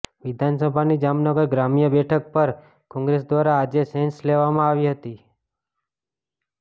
વિધાનસભાની જામનગર ગ્રામ્ય બેઠક પર કોંગ્રેસ દ્વારા આજે સેન્સ લેવામાં આવી હતી